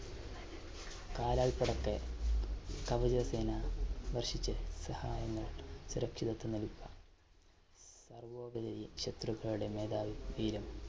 വർഷിച്ച് സഹായങ്ങൾ സുരക്ഷിതത്വം നൽകുക സർവ്വോപരി ശത്രുക്കളുടെ മേധാവിതീരം